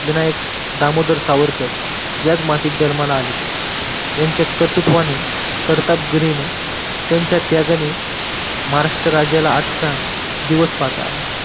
विनायक दामोदर सावरकर याच मातीत जन्माला आले. यांच्या कर्तुत्वानी कर्तबगिरीने त्यांच्या त्यागाने महाराष्ट्र राज्याला आजचा दिवस पाहता आला